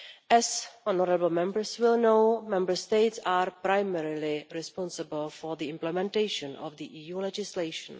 As honourable Members will know, Member States are primarily responsible for the implementation of EU legislation.